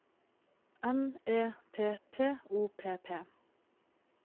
N E T T O P P